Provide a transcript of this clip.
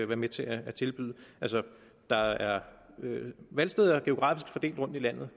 være med til at tilbyde der er valgsteder geografisk fordelt rundt i landet